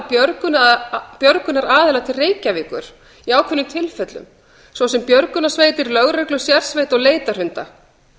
aðra björgunaraðila til reykjavíkur í ákveðnum tilfellum svo sem björgunarsveitir lögreglu sérsveit og leitarhunda